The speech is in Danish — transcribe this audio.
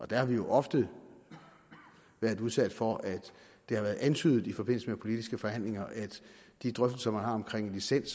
der har vi jo ofte været udsat for at det har været antydet i forbindelse med politiske forhandlinger at de drøftelser man har omkring licens